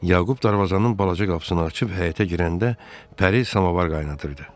Yaqub darvazanın balaca qapısını açıb həyətə girəndə, Pəri samavar qaynadırdı.